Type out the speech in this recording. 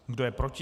Kdo je proti?